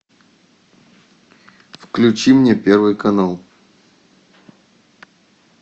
включи мне первый канал